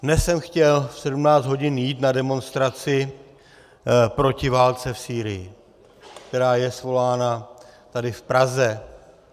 Dnes jsem chtěl v 17 hodin jít na demonstraci proti válce v Sýrii, která je svolána tady v Praze.